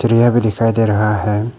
भी दिखाई दे रहा है।